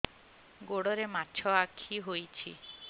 ଗୋଡ଼ରେ ମାଛଆଖି ହୋଇଛି